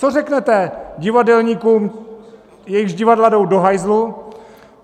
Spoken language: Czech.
Co řeknete divadelníkům, jejichž divadla jdou do hajzlu?